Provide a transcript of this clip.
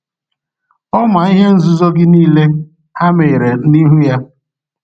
Ọ ma ihe nzuzo gị niile; ha meghere n’ihu ya.